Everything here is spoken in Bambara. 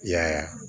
Y'a ye